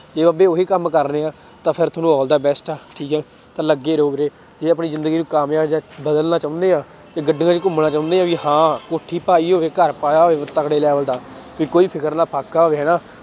ਜੇ ਅੱਗੇ ਉਹੀ ਕੰਮ ਕਰਨੇ ਆਂ ਤਾਂ ਫਿਰ ਤੁਹਾਨੂੰ all the best ਆ ਠੀਕ ਹੈ ਤਾਂ ਲੱਗੇ ਰਹੋ ਵੀਰੇ ਜੇ ਆਪਣੀ ਜ਼ਿੰਦਗੀ ਨੂੰ ਕਾਮਯਾਬ ਜਾਂ ਬਦਲਣਾ ਚਾਹੁਨੇ ਆਂ ਤੇ ਗੱਡੀਆਂ ਚ ਘੁੰਮਣਾ ਚਾਹੁੰਦੇ ਹਾਂ ਵੀ ਹਾਂ ਕੋਠੀ ਪਾਈ ਹੋਵੇ ਘਰ ਪਾਇਆ ਹੋਵੇ ਤਕੜੇ level ਦਾ ਵੀ ਕੋਈ ਫ਼ਿਕਰ ਨਾ ਫ਼ਾਕਾ ਹੋਵੇ ਹਨਾ,